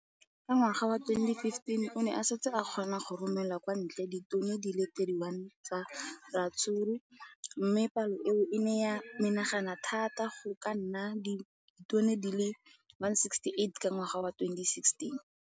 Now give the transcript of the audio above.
Ka ngwaga wa 2015, o ne a setse a kgona go romela kwa ntle ditone di le 31 tsa ratsuru mme palo eno e ne ya menagana thata go ka nna ditone di le 168 ka ngwaga wa 2016.